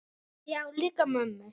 Já, líka mömmu